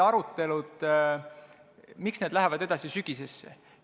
Miks lähevad arutelud edasi sügisesse?